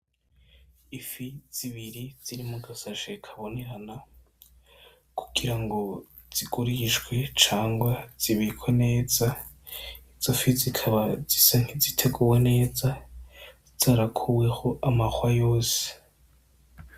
Ifi zibiri ziri muga sashe kabonerana kugira ngo zigurishwe cangwa zibikwe neza, izo fi zikaba zisa nkiziteguwe neza zarakuweho amahwa yose.